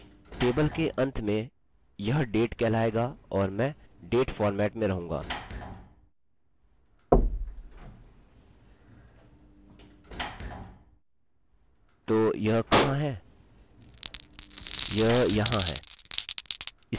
table के अंत में यह date कहलाएगा और मैं डेट फॉर्मेट में रहूँगा तो यह कहाँ है यह यहाँ है